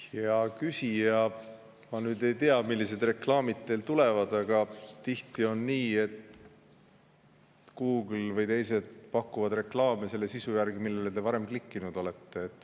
Hea küsija, ma ei tea, millised reklaamid teil tulevad, aga tihti on nii, et Google või teised pakuvad reklaame selle sisu järgi, millele te varem klikkinud olete.